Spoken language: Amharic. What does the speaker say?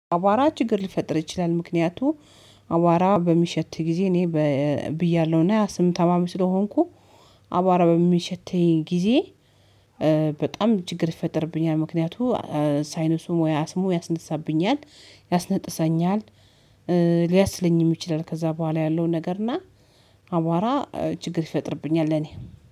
አቧራ ችግር ሊፈጥር ይችላል። ምክንያቱም አቧራ በሚሸት ጊዜ እኔ ብያለሁና ያ ስም ታማሚ ስለሆንኩ አባባሚ በሚሸተኝ ጊዜ በጣም ችግር ይፈጠርብኛል። ምክንያቱ ሳይንሱ ሙያ ስሙ ያስነሳብኛል ያስነጥሰኛል ሊያስለኝም ይችላል። ከዛ በኋላ ያለውን ነገር እና አቧራ ችግር ይፈጥርብኛል። ለኔ